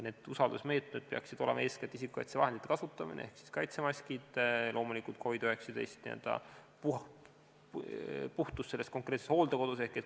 Need usaldusmeetmed peaksid olema eeskätt isikukaitsevahendite kasutamine ehk kaitsemaskid, loomulikult ka COVID-19 puhtus konkreetses hooldekodus.